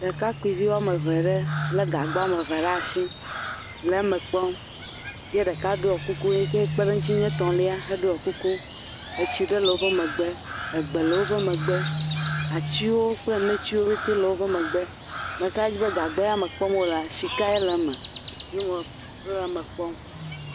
Ɖekakpuivi woame eve ɖe lé gagba woame eve ɖe asi, le me kpɔm, ye ɖeka ɖɔ ku…,si kpe ɖe wo ŋuti nye etɔ̃lia heɖɔ kuku, etsi ɖe woƒe megbe, egbe le woƒe megbe, atiwo kple netiwo ƒete le woƒe megbe, meka ɖe dzi be gagbe ya me kpɔm wolea, sikae le me, wole me kpɔm…